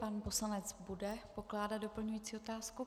Pan poslanec bude pokládat doplňující otázku.